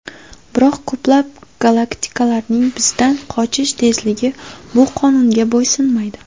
Biroq ko‘plab galaktikalarning bizdan qochish tezligi bu qonunga bo‘ysunmaydi.